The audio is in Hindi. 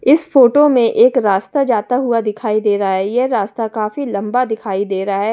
इस फोटो में एक रास्ता जाता हुआ दिखाई दे रहा है यह रास्ता काफी लंबा दिखाई दे रहा है।